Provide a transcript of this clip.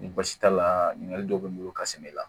Ni baasi t'a la ɲininkali dɔw bɛ n bolo ka sɛnɛ la